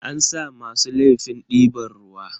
An sa masu laifin diban ruwa.